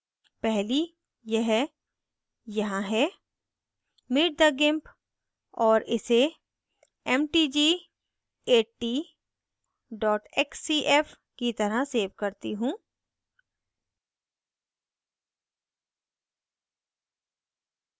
पहली यह यहाँ है meet the gimp और इसे mtg80 xcf की तरह xcf करती हूँ